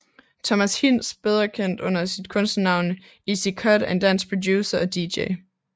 Thomas Hinz bedre kendt under sit kunstnernavn Ezi Cut er en dansk producer og Dj